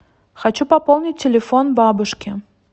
хочу пополнить телефон бабушки